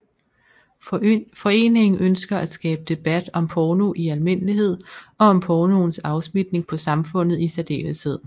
Foreningen ønsker at skabe debat om porno i almindelighed og om pornoens afsmitning på samfundet i særdeleshed